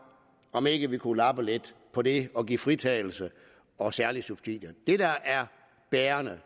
om ikke vi kunne lappe lidt på det og give fritagelse og særlige subsidier det der er bærende